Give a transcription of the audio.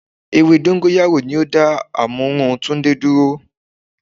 Ewé dóngóyárò ni o dá àmúrun Túndé dúró